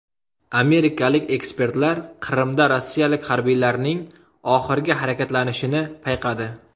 Amerikalik ekspertlar Qrimda rossiyalik harbiylarning oxirgi harakatlanishini payqadi.